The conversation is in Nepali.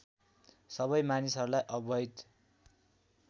सबै मानिसहरूलाई अवैध